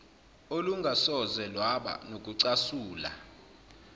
olungasoze lwaba nokucasula